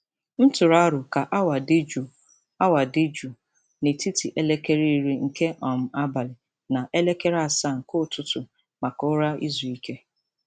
M tụrụ aro ka awa dị jụụ awa dị jụụ n'etiti elekere iri nke um abali na elekere asaa nke ụtụtụ maka ụra izu ike.